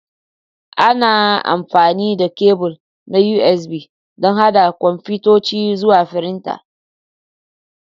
Ana amfani da kebul na USB don haɗa kwamfutoci zuwa firinta.